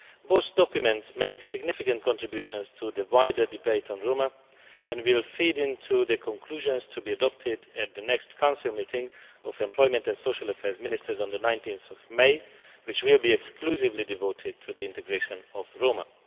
Both documents make significant contributions to the wider debate on Roma, and will feed into the conclusions to be adopted at the next Council meeting of Employment and Social Affairs Ministers on 19 May, which will be exclusively devoted to the integration of Roma.